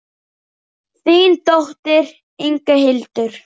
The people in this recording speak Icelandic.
Þín dóttir, Inga Hildur.